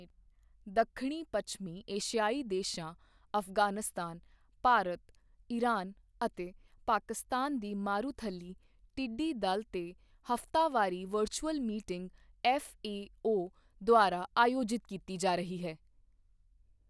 ਦੱਖਣੀ ਪੱਛਮੀ ਏਸ਼ੀਆਈ ਦੇਸ਼ਾਂ ਅਫ਼ਗ਼ਾਨਿਸਤਾਨ, ਭਾਰਤ, ਇਰਾਨ ਅਤੇ ਪਾਕਿਸਤਾਨ ਦੀ ਮਾਰੂਥਲੀ ਟਿੱਡੀ ਦਲ ਤੇ ਹਫਤਾਵਾਰੀ ਵਰਚੁਅਲ ਮੀਟਿੰਗ ਐੱਫਏਓ ਦੁਆਰਾ ਆਯੋਜਿਤ ਕੀਤੀ ਜਾ ਰਹੀ ਹੈ।